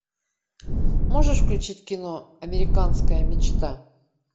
можешь включить кино американская мечта